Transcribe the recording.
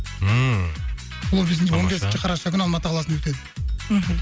ммм он бесінші қараша күні алматы қаласында өтеді мхм